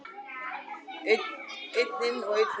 Einn inn og einn út!